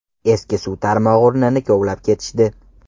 Eski suv tarmog‘i o‘rnini kovlab ketishdi.